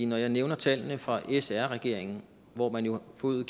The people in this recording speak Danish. når jeg nævner tallene fra sr regeringen hvor man jo forøgede